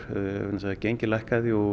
vegna þess að gengið lækkaði og